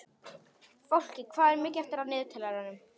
Fálki, hvað er mikið eftir af niðurteljaranum?